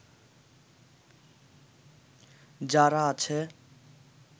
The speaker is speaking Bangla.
যারা আছে